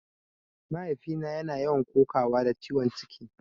Mahaifina yana yawan kokawa da ciwon ciki